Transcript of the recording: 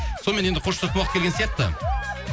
сонымен енді қоштасатын уақыт келген сияқты